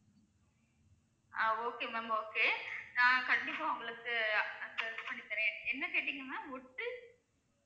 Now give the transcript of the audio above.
ஆஹ் okay ma'am okay நான் கண்டிப்பா உங்களுக்கு அந்த பண்ணி தரேன். என்ன கேட்டிங்க, ma'am wood